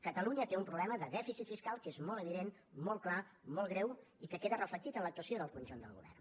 catalunya té un problema de dèficit fiscal que és molt evident molt clar molt greu i que queda reflectit en l’actuació del conjunt del govern